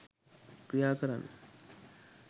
ක්‍රියා කරන්න.